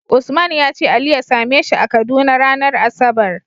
Usman yace ali ya same shi a kaduna ranar asabar